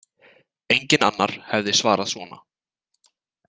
Enginn annar hefði svarað svona.